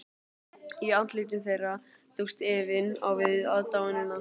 Í andlitum þeirra tókst efinn á við aðdáunina.